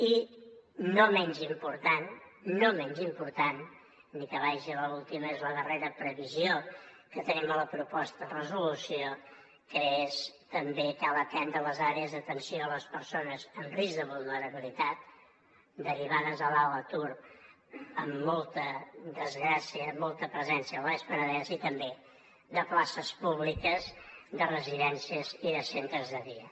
i no menys important no menys important ni que vagi a l’última és la darrera previsió que tenim a la proposta de resolució que és també cal atendre les àrees d’atenció a les persones en risc de vulnerabilitat derivades de l’alt atur amb molta desgràcia amb molta presència al baix penedès i també de places públiques de residències i centres de dia